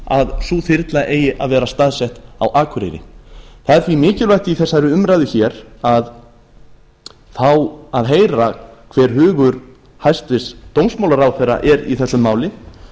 að sú þyrla eigi að vera staðsett á akureyri það er því mikilvægt í þessari umræðu hér að fá að heyra hver hugur hæstvirtur dómsmálaráðherra er í þessu máli